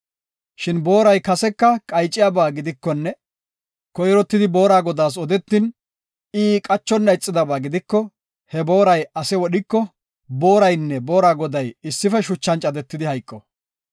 Shin booray kaseka qayciyaba gidikonne koyrottidi boora godaas odetin, I qachonna ixidaba gidiko, he booray ase wodhiko, booraynne boora goday issife shuchan cadetidi hayqo.